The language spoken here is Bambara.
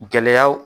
Gɛlɛyaw